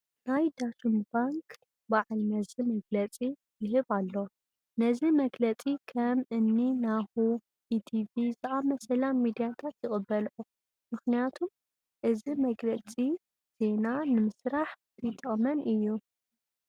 ናይ ዳሽን ባንክ በዓል መዚ መግለፂ ይህብ ኣሎ፡፡ ነዚ መግለፂ ከም እኒ ናሁ፣ ኢቲቪ ዝኣምሰላ ሚድያታት ይቕበልኦ፡፡ ምኽንያቱም እዚ መግለፂ ዜና ንምስራሕ ይጠቕመን እዩ፡፡